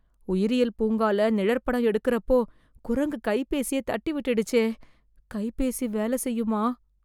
உயிரியல் பூங்கால நிழற்படம் எடுக்கறப்போ, குரங்கு கைபேசியை தட்டிவிட்டுடுச்சே... கைபேசி வேலை செய்யுமா..